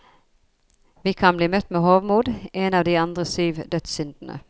Vi kan bli møtt med hovmod, en av de andre syv dødssyndene.